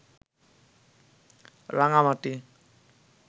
Rangamati